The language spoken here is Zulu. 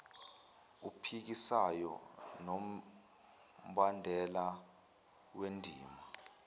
ophikisayo nombandela wendima